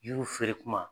Yiriw feere kuma